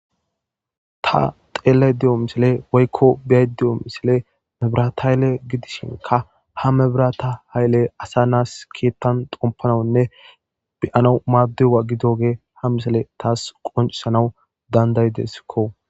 ta xeellayda diyo misile woykko biyay de7o misile mebirata haylle gidishinka ha mebirata hayle asa naas keettan xompanawunne beyana maaddiwa gidoge ha misele taas qoncisanaw dandayideskko